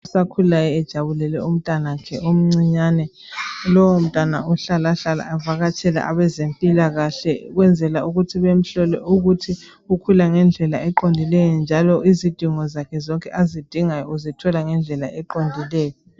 Osakhulayo ujabulele umntwana omncinyane. Lowomntwana uhlalahlala avakatshele abezempilakahle ukwenzela ukuthi bamhlole ukuthi ukhula ngendlela eqondileyo njalo izidingo zakhe zonke azidingayo uzithola yakhe eqondileyo.